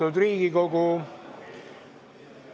Austatud Riigikogu!